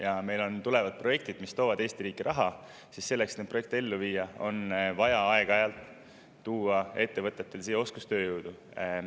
Kui meile tulevad projektid, mis toovad Eesti riiki raha, siis selleks, et neid projekte ellu viia, on vaja aeg-ajalt tuua ettevõtetele siia oskustööjõudu.